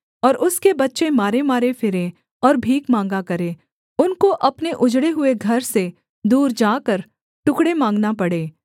और उसके बच्चे मारेमारे फिरें और भीख माँगा करे उनको अपने उजड़े हुए घर से दूर जाकर टुकड़े माँगना पड़े